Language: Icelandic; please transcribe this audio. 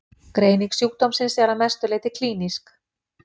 Greining sjúkdómsins er að mestu leyti klínísk.